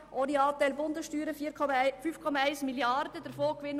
Ohne Anteil der Bundessteuern beträgt dieser 5,1 Mrd. Franken.